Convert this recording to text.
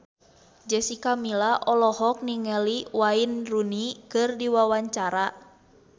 Jessica Milla olohok ningali Wayne Rooney keur diwawancara